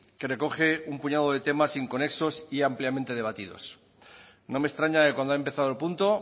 que recoge un puñado de temas inconexos y ampliamente debatidos no me extraña que cuando ha empezado el punto